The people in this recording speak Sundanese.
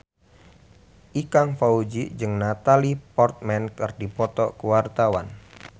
Ikang Fawzi jeung Natalie Portman keur dipoto ku wartawan